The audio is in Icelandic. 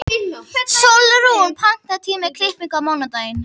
Sólrún, pantaðu tíma í klippingu á mánudaginn.